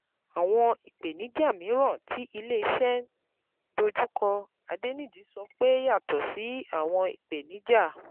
Àwọn ìpèníjà mìíràn tí ilé iṣẹ́ ń dojú kọ: Adeniji sọ pé yàtọ̀ sí àwọn ìpèníjà,